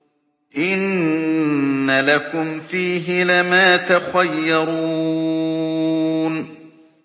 إِنَّ لَكُمْ فِيهِ لَمَا تَخَيَّرُونَ